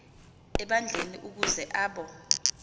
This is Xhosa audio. ebandleni ukuze abo